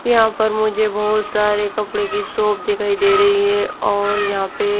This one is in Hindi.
यहां पर मुझे बहोत सारे कपड़े की शॉप दिखाई दे रही है और यहां पे--